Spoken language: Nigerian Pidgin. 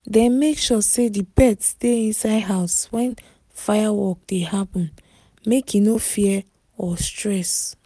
dem make sure say the pet stay inside house when firework dey happen make e no fear or stress